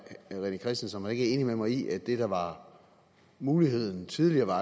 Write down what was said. rené christensen ikke er enig med mig i at det der var muligheden tidligere var